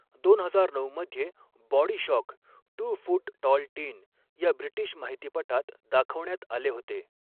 दोन हजार नऊ मध्ये body shock two foot tall teen या ब्रिटिश माहितीपटात दाखवण्यात आले होते.